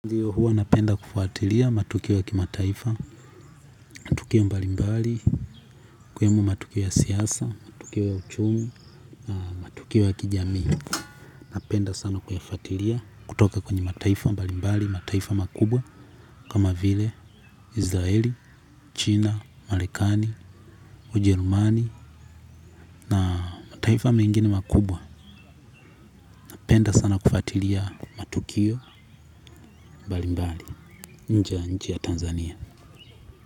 Ndiyo, huwa napenda kufuatilia matukio ya kimataifa na matukio mbalimbali, kama matukio ya siasa, matukio ya uchumi, matukio ya kijamii. Napenda sana kuyafuatilia kutoka kwenye mataifa mbalimbali, mataifa makubwa, kama vile Israeli, China, Marekani, Ujerumani, na mataifa mengine makubwa. Napenda sana kufatilia matukio mbalimbali, nje ya nchi ya Tanzania.